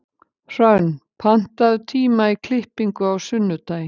Hrönn, pantaðu tíma í klippingu á sunnudaginn.